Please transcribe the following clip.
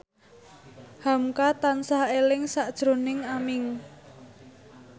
hamka tansah eling sakjroning Aming